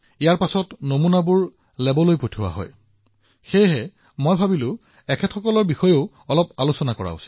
সেয়েহে যেতিয়া মই আপোনাৰ সকলো পৰামৰ্শ আৰু প্ৰশ্ন পঢ়ি আছিলো মই সিদ্ধান্ত লৈছিলো যে আমাৰ এই সহকৰ্মীসকলৰ বিষয়েও আলোচনা কৰিব লাগিব